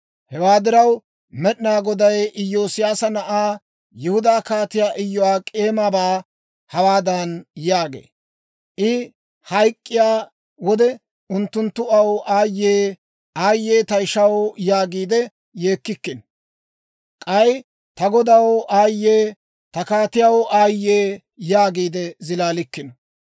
Hewaa diraw, Med'inaa Goday Iyoosiyaasa na'aa, Yihudaa Kaatiyaa Iyo'ak'eemabaa hawaadan yaagee; «I hayk'k'iyaa wode unttunttu aw, ‹Aayyee! Aayye! Ta ishaw!› yaagiide yeekkikkino. K'ay, ‹Ta godaw, aayye! Ta kaatiyaw, aayye!› yaagiide zilaalikkino.